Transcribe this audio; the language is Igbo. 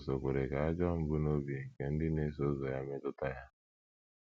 Jizọs ò kwere ka ajọ mbunobi nke ndị na - eso ụzọ ya metụta ya?